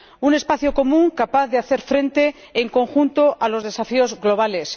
Un espacio común capaz de hacer frente en conjunto a los desafíos globales.